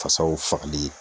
Fasaw fagali ye.